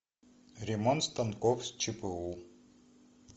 ремонт станков с чпу